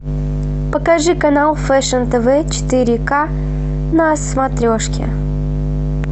покажи канал фэшн тв четыре ка на смотрешке